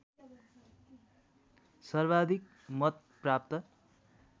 सर्वाधिक मत प्राप्त